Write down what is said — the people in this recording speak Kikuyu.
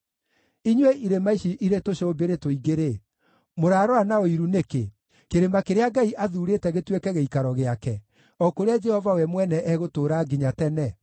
Inyuĩ irĩma ici irĩ tũcũmbĩrĩ tũingĩ-rĩ, mũrarora na ũiru nĩkĩ, kĩrĩma kĩrĩa Ngai athuurĩte gĩtuĩke gĩikaro gĩake, o kũrĩa Jehova we mwene egũtũũra nginya tene?